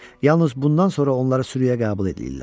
Yalnız bundan sonra onları sürüyə qəbul eləyirlər.